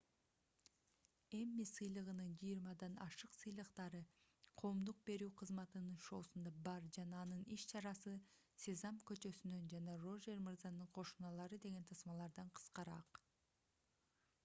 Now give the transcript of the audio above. эмми сыйлыгынын жыйырмадан ашык сыйлыктары коомдук берүү кызматынын шоусунда бар жана анын иш-чарасы сезам көчөсүнөн жана рожер мырзанын кошуналары деген тасмалардан кыскараак